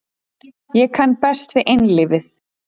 Ég kann best við einlífið.